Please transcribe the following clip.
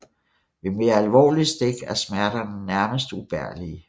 Ved mere alvorlige stik er smerterne nærmest ubærlige